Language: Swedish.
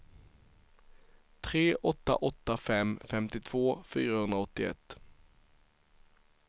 tre åtta åtta fem femtiotvå fyrahundraåttioett